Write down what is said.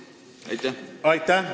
Aitäh!